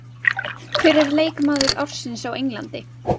Hver er leikmaður ársins á Englandi?